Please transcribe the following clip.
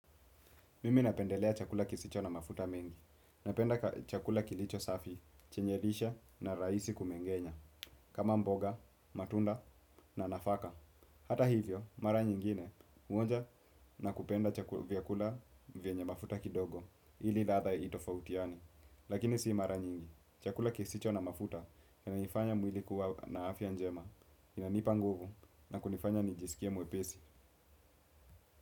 Mimi napendelea chakula kisicho na mafuta mengi, napenda chakula kilicho safi, chenye lishe na rahisi kumengenya, kama mboga, matunda na nafaka. Hata hivyo, mara nyingine, huonja na kupenda chakula, vyakula vyenye mafuta kidogo, ili ladha itofafutiane. Lakini si mara nyingi, chakula kisicho na mafuta kinanifanya mwili kuwa na afyq njema, inanipa nguvu, na kunifanya nijisikie mwepesi.